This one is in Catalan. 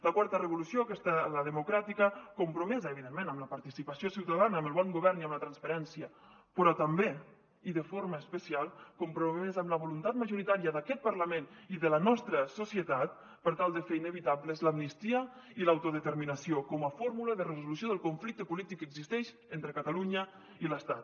la quarta revolució aquesta la democràtica compromesa evidentment amb la participació ciutadana amb el bon govern i amb la transparència però també i de forma especial compromès amb la voluntat majoritària d’aquest parlament i de la nostra societat per tal de fer inevitables l’amnistia i l’autodeterminació com a fórmula de resolució del conflicte polític que existeix entre catalunya i l’estat